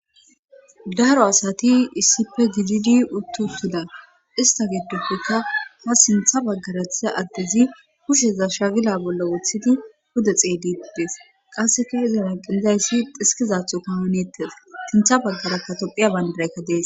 Daro asati issife gididi uttu utuda ista giddoppeka ha sintha baggara thiza addezi hushsheza shagila bolla woththidi huda xeeydittees qasseka izon aqizayssi xiskizatho kahoneettes sintha baggarakkatophiya bandaraykka dees